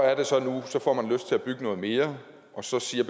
får man lyst til at bygge noget mere og så siger